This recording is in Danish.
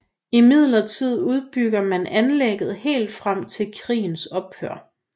Imidlertid udbyggede man anlægget helt frem til krigens ophør